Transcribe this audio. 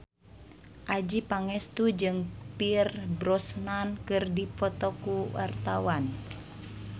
Adjie Pangestu jeung Pierce Brosnan keur dipoto ku wartawan